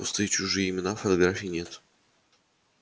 пустые чужие имена фотографий нет